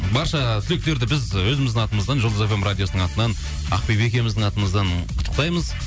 барша түлектерді біз ы өзіміздің атымыздан жұлдыз фм радиосының атынан ақбибі екеуіміздің атымыздан құттықтаймыз